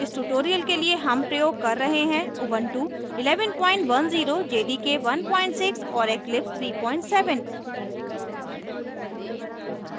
इस tutorial के लिए हम प्रयोग कर रहे हैं